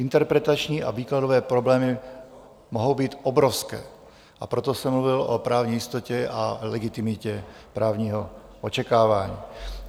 Interpretační a výkladové problémy mohou být obrovské, a proto jsem mluvil o právní jistotě a legitimitě právního očekávání.